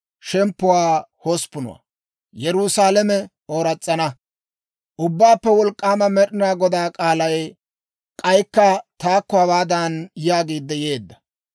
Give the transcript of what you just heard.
Ubbaappe Wolk'k'aama Med'inaa Godaa k'aalay k'aykka taakko, hawaadan yaagiid yeedda;